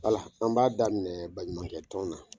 Wala! an b'a daminɛ baɲumankɛ tɔn na.